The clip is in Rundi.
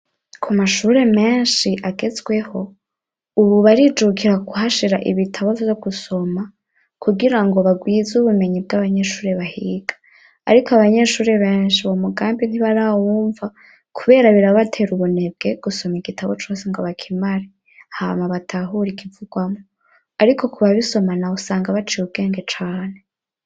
ku mashure menshi agezweho, ubu barijukira kuhashira ibitabo vyo gusoma, kugira ngo bagwize ubumenyi bw'abanyeshure bahiga; ariko abanyeshure benshi uwo mugambi ntibarawumva, kubera birabatera ubunebwe gusoma igitabo cose ngo bakimare hama batahure ikivugwamwo; ariko ku babisoma nabo usanga baciye ubwenge cane.